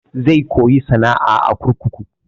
Zai koya sana'a a kurkuku.